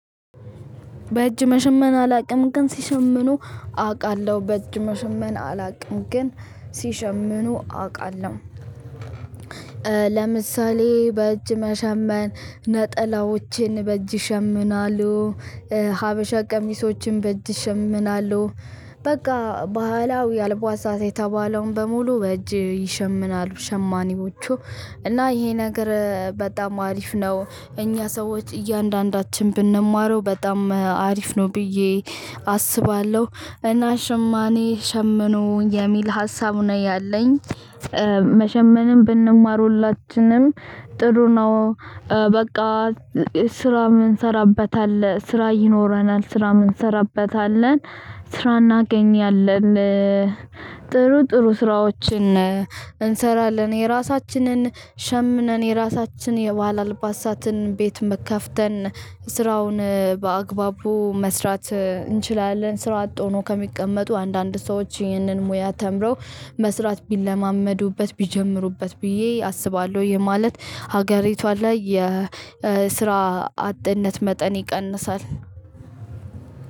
በእጅ መሸመን አላውቅም ግን ሲሸምኑ አውቃለሁ። በእጅ መሸመን አላውቅም ግን ሲሸምኑ አውቃለሁ። ለምሳሌ በእጅ መሸመን ነጠላዎችን በእጅ ይሸምናሉ ሀበሻ ቀሚሶችን በእጅ ይሸምናሉ በቃ ባህላዊ አልባሳት የተባለውን በሙሉ በእጅ ይሸምናሉ ሸማኔዎቹ እና ይሄ ነገር በጣም አሪፍ ነው እኛ ሰዎች እያንዳንዳችን ብንማረው በጣም አሪፍ ነው ብዬ አስባለሁ እና ሽማኔ ሸምኖ የሚል ሀሳብ ነው ያለኝ መሸመንን ብንማር ሁላችንም ጥሩ ነው። በቃ ስራ የምንራበት አለ። ስራ ይኖረናል። ስራ የምንራበት አለን። ስራ እናገኛለን። ጥሩ ጥሩ ስራዎችን እንሰራለን የራሳችንን ሸምነን የራሳችን የባህል አልባሳትን ቤት ከፍተን ስራውን በአግባቡ መስራት እንችላለን ስራ አጥ ሆኖ ከሚቀመጡ አንዳንድ ሰዎች ይህንን ሙያ ተምረው መስራት ቢለማመዱበት ቢጀምሩበት ብዬ አስባለሁ ይሄ ማለት ሀገሪቷ ላይ የስራ አጥነት መጠን ይቀንሳል።